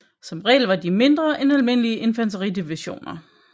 Som regel var de mindre end almindelige infanteridivisioner